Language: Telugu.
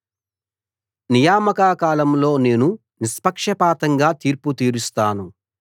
నియామక కాలంలో నేను నిష్పక్షపాతంగా తీర్పు తీరుస్తాను